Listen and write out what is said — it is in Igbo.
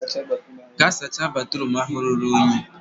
gaa sacha batruum ahụ ruru unyi!